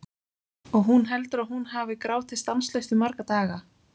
Og hún heldur að hún hafi grátið stanslaust í marga daga.